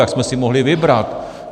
Jak jsme si mohli vybrat!